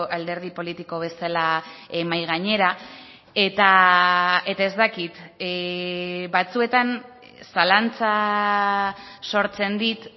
alderdi politiko bezala mahai gainera eta ez dakit batzuetan zalantza sortzen dit